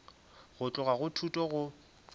go tloga go thuto go